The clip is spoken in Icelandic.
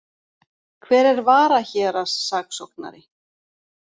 Hver er varahéraðssaksóknari?